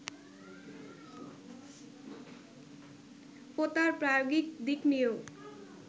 ও তার প্রায়োগিক দিক নিয়েও